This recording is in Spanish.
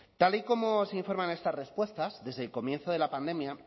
tal y como se informa en estas respuestas desde el comienzo de la pandemia